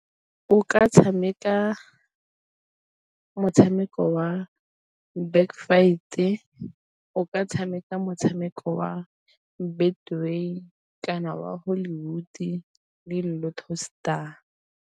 O ka tshameka motshameko wa Back Fight-e, o ka tshameka motshameko wa Betway kana wa Hollywood le LottoStar.